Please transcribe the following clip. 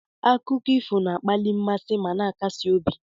Akụkọ ifo na-akpali mmasị ma na-akasi obi.